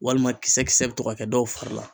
Walima kisɛ kisɛ bi to ka kɛ dɔw fari la.